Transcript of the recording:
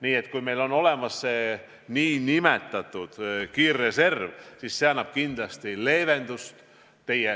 Nii et kui meil on olemas see nn kiirreserv, siis see annab kindlasti leevendust.